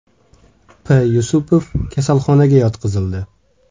P.Yusupov kasalxonaga yotqizildi.